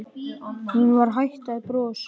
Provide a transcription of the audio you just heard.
Hún var hætt að brosa.